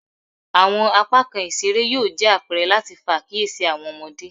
Awọn apakan isere yoo jẹ apẹrẹ lati fa akiyesi awọn ọmọde